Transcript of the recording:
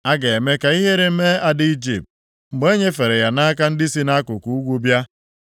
A ga-eme ka ihere mee Ada Ijipt, mgbe e nyefere ya nʼaka ndị si nʼakụkụ ugwu bịa.”